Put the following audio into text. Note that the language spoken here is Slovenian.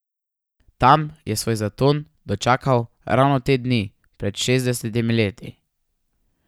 Tam je svoj zaton dočakal ravno te dni pred šestdesetimi leti.